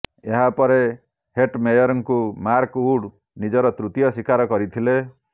ଏହା ପରେ ହେଟମେୟରଙ୍କୁ ମାର୍କ ଉଡ୍ ନିଜର ତୃତୀୟ ଶିକାର କରିଥିଲେ